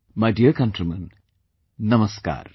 My dear countrymen, Namaskar